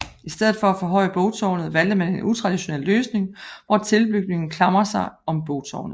I stedet for at forhøje bogtårnet valgte man en utraditionel løsning hvor tilbygningen klamrer sig om bogtårnet